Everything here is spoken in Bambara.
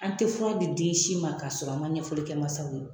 An te fura di den si ma k'a sɔrɔ an ma ɲɛfɔli kɛ masaw ye.